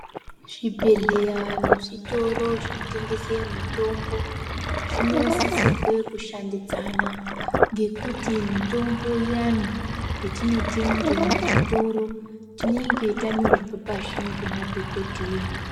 Zvibhedhleya nezvitoro zvinotengese mutombo zvonosisirwe kushandidzana ngekuti mutombo iyani yetinotenge muzvitoro tinenge tanyorerwe pashi ngemadhokodheya.